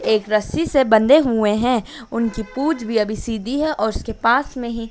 एक रस्सी से बंधे हुए हैं उनकी पूछ भी अभी सीधी है और उसके पास में ही--